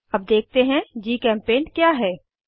अब देखते हैं जीचेम्पेंट क्या है160